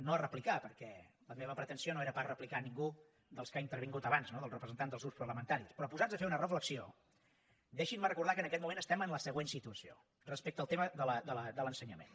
no a replicar perquè la meva pretensió no era pas replicar nin gú dels que han intervingut abans no dels representants dels grups parlamentaris però posats a fer una reflexió deixin me recordar que en aquest moment estem en la següent situació respecte al tema de l’ensenyament